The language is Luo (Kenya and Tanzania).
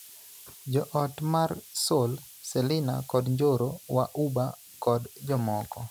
Jo ot mar Sol, Selina kod Njoro wa Uba kod jomoko.